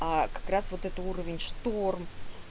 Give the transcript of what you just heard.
а как раз вот это уровень шторм